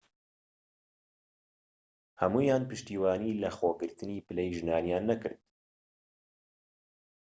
هەموویان پشتیوانیی لەخۆگرتنی پلەی ژنانیان نەکرد